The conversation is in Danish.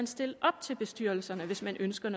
stille op til bestyrelserne hvis man ønsker